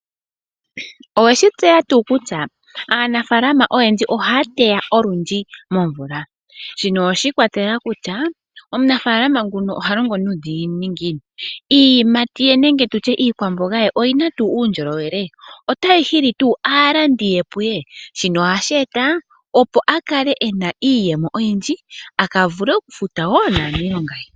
Oweshi tseya tuu kutya aanafalama oyendji ohaya teya olundji momvula, shino oshi ikwatelela omunafalama nguno oha longo nuudhiginini ngiini. Iiyimati ye nenge tutye iikwamboga ye oyina tuu uundjolowele, otayi hili tuu aalandi puye shino ohashi eta opo a kale ena iiyemo oyindji aka vule okufuta naanilonga ye.